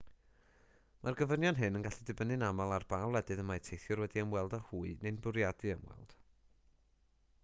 mae'r gofynion hyn yn gallu dibynnu'n aml ar ba wledydd y mae teithiwr wedi ymweld â hwy neu'n bwriadu ymweld